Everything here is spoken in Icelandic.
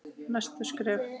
Næstu skref?